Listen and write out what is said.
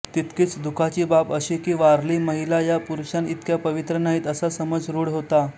तितकीच दुःखाची बाब अशी की वारली महिला या पुरुषाइतक्या पवित्र नाहीत असा समज रूढ होता